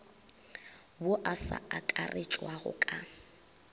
wo o sa akaretšwago ka